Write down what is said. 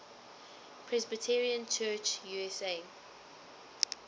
presbyterian church usa